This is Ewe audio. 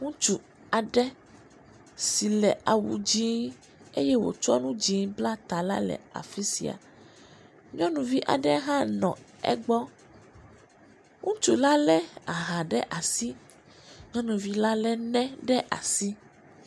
Ŋutsu aɖe si le awu dzɛ̃ eye wòtsɔ nu dzɛ̃ bla ta la le afi sia, nyɔnuvi aɖe hã le egbɔ, ŋutsu la lé aha ɖe asi nyɔnuvi la lé ne ɖe asi.